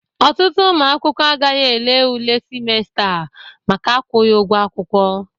Ọtụtụ ụmụ akwụkwọ agaghị ele ule simesta a maka akwụghị ụgwọ akwụkwọ.